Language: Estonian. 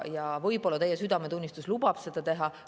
Ja võib-olla ka teie südametunnistus lubab seda teha.